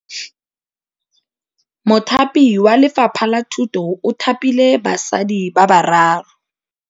Mothapi wa Lefapha la Thutô o thapile basadi ba ba raro.